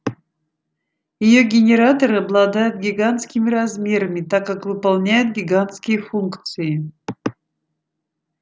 её генераторы обладают гигантскими размерами так как выполняют гигантские функции